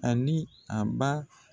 Ani a ba